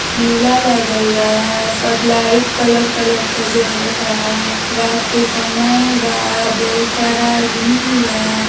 मेला लागल बा। सब लाइट कलर कलर क जरता। रात के समय बा। बहुत सारा आदमी बा।